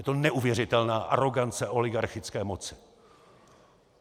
Je to neuvěřitelná arogance oligarchické moci.